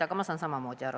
Aga ma saan samamoodi aru.